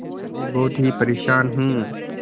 मैं बहुत ही परेशान हूँ